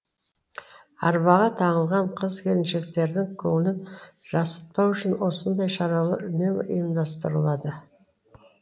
арбаға таңылған қыз келіншектердің көңілін жасытпау үшін осындай шаралар үнемі ұйымдастырылады